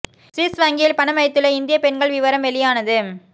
Swiss வங்கியில் பணம் வைத்துள்ள இந்தியப் பெண்கள் விவரம் வெளியானது